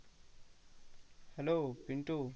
Hello Pintu